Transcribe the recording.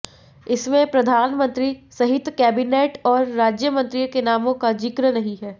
इसमें प्रधानमंत्री सहित कैबिनेट और राज्यमंत्रियों के नामों का जिक्र नहीं हैं